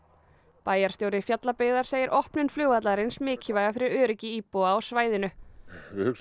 bæjarstjóri Fjallabyggðar segir opnun flugvallarins mikilvæga fyrir öryggi íbúa á svæðinu við hugsum